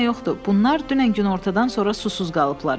Bunlar dünən günortadan sonra susuz qalıblar.